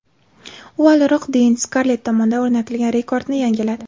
U avvalroq Deyn Skarlett tomonidan o‘rnatilgan rekordni yangiladi.